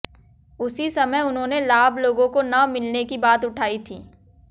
उसी समय उन्होंने लाभ लोगों को न मिलने की बात उठाई थी